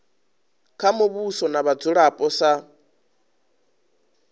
kha muvhuso na vhadzulapo sa